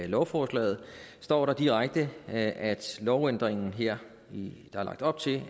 lovforslaget står der direkte at lovændringen her der er lagt op til